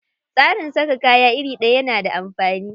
Tsarin saka kaya iri ɗaya na da amfani.